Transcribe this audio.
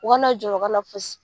U ka na jɔrɔ u ka na fosi.